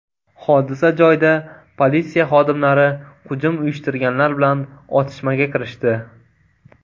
Hodisa joyida politsiya xodimlari hujum uyushtirganlar bilan otishmaga kirishdi.